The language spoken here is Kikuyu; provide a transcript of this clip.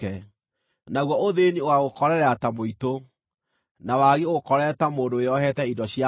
naguo ũthĩĩni ũgaagũkorerera ta mũitũ, na wagi ũgũkorerere ta mũndũ wĩohete indo cia mbaara.